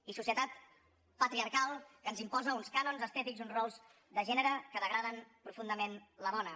i societat patriarcal que ens imposa uns cànons estètics uns rols de gènere que degraden profundament la dona